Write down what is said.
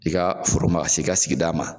I ka furu masi ka sigida ma.